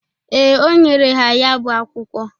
Ee, o nyere ha ya bụ akwụkwọ.